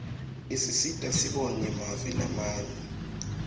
isisita sibone mave lamanye